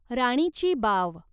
राणीची बाव